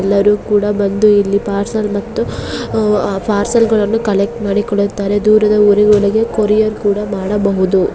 ಎಲ್ಲರೂ ಸಹ ಬಂದು ಇಲ್ಲಿ ಪಾರ್ಸಲ್ ಮತ್ತು ಪಾರ್ಸೆಲ್ ಕಲೆಕ್ಟ್ ಮಾಡಿಕೊಳ್ಳತ್ತಾರೆ .ಮತ್ತೆ ದೂರದ ಊರಿಗೆ ಕೊರಿಯರ್ ಕೂಡ ಮಾಡಬಹುದು.